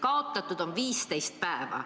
Kaotatud on 15 päeva.